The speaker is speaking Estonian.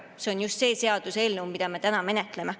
See on just see seaduseelnõu, mida me täna menetleme.